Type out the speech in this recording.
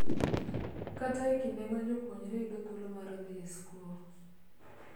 Kata e kinde ma jopuonjre yudo thuolo mar dhi e skul,